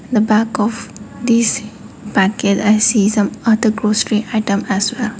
in the back of these packet i see some other grocery item as well.